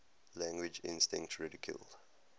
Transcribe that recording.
language instinct ridiculed